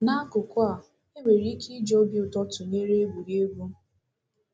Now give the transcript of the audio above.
N’akụkụ a, e nwere ike iji obi ụtọ tụnyere egwurugwu.